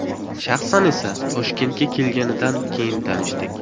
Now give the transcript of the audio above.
Shaxsan esa, Toshkentga kelganidan keyin tanishdik.